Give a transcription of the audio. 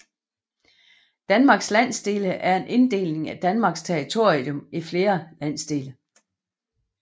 Danmarks landsdele er en inddeling af Danmarks territorium i flere landsdele